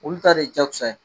Olu ta de jakosa ye